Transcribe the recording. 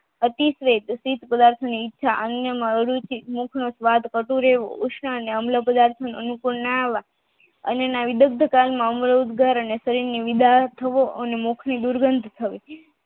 અતિશ્રેત અતિપદાર્થની ઈચ્છા જેમાં અરુચિ મુખનો સ્વાદ અધૂરેવું અનુકુલમના આવવા અનિબદ્ધતા અને મુખની ગંધ દૂર થવી